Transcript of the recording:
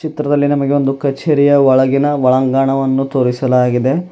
ಚಿತ್ರದಲ್ಲಿ ನಮಗೆ ಒಂದು ಕಚೇರಿಯ ಒಳಗಿನ ಒಳಾಂಗಣವನ್ನು ತೋರಿಸಲಾಗಿದೆ.